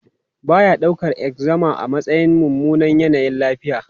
Ba ya daukar eczema a matsayin mummunan yanayin lafiya.